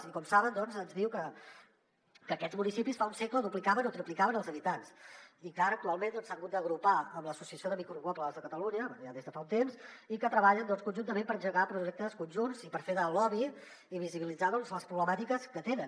i com saben ens diu que aquests municipis fa un segle duplicaven o triplicaven els habitants i que ara actualment s’han hagut d’agrupar en l’associació de micropobles de catalunya des de fa un temps i que treballen conjuntament per engegar projectes conjunts i per fer de lobby i visibilitzar les problemàtiques que tenen